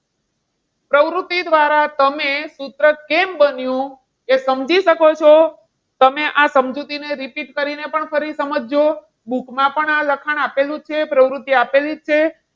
પ્રવૃત્તિ દ્વારા તમે સૂત્ર કેમ બન્યું એ સમજી શકો છો. તમે આ સમજૂતીને repeat કરીને પણ પરી સમજજો. book માં પણ આ લખાણ આપેલું જ છે. પ્રવૃત્તિ આપેલી જ છે.